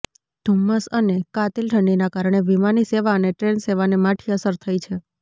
ધુમ્મસ અને કાતિલ ઠંડીના કારણે વિમાની સેવા અને ટ્રેન સેવાને માઠી અસર થઇ છે